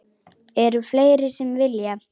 Eru fleiri sem vilja?